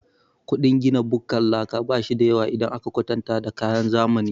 Ƙudin gina bukkar laka bashida yawa idan aka kwatanta da kayan zamani.